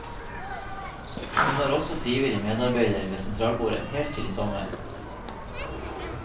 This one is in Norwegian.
Hun var også frivillig medarbeider ved sentralbordet helt til i sommer.